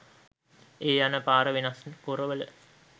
ඒ යන පාර වෙනස් කොරවල